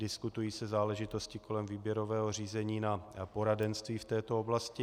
Diskutují se záležitosti kolem výběrového řízení na poradenství v této oblasti.